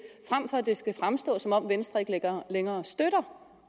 frem for at det skal fremstå som om venstre ikke længere længere støtter